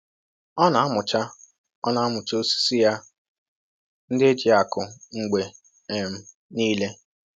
Ọ na‑amụcha Ọ na‑amụcha osisi ya ndị e ji akụ mgbe um niile.